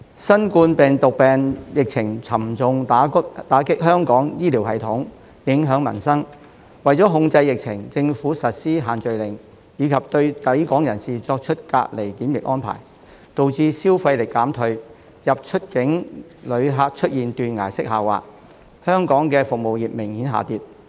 新冠病毒病疫情沉重打擊香港醫療系統、影響民生，為了控制疫情，政府實施限聚令及對抵港人士作出隔離檢疫安排，導致消費力減退，入、出境旅客出現斷崖式下滑，而香港的服務業明顯下跌。